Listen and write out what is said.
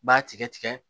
B'a tigɛ tigɛ